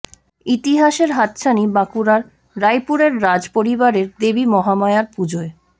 ইতিহাসের হাতছানি বাঁকুড়ার রাইপুরের রাজ পরিবারের দেবী মহামায়ার পুজোয়